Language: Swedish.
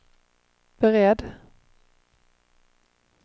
beredd